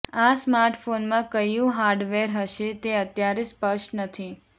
આ સ્માર્ટફોનમાં કયું હાર્ડવેર હશે તે અત્યારે સ્પષ્ટ નથી